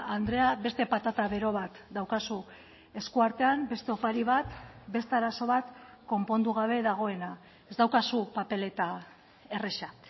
andrea beste patata bero bat daukazu esku artean beste opari bat beste arazo bat konpondu gabe dagoena ez daukazu papeleta erraza